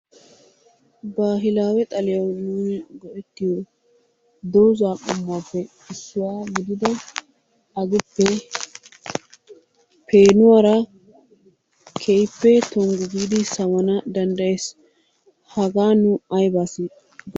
Baahilaawe xaliyaw nuun go"ettiyo dooza qommuwappe issuwa gidida aguppe peenuwara keehippe toonggu giidi sawana danddayees. Hagan nu aybba siyo....